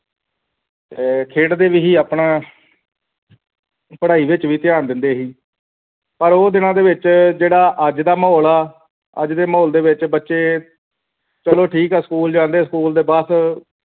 ਅਹ ਖੇਡਦੇ ਵੀ ਸੀ ਆਪਣਾ ਪੜ੍ਹਾਈ ਵਿਚ ਵੀ ਧਿਆਨ ਦਿੰਦੇ ਸੀ ਪਰ ਉਹ ਦਿਨਾ ਦੇ ਵਿਚ ਜਿਹੜਾ ਅੱਜ ਦਾ ਮੌਸਮ ਹੈ ਅੱਜ ਦੇ ਮਾਹੌਲ ਦੇ ਵਿਚ ਬੱਚੇ ਚਲੋ ਠੀਕ ਹੈ school ਜਾਂਦੇ school ਦੇ ਬੱਸ਼